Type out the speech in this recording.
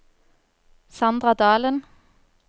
Sandra Dalen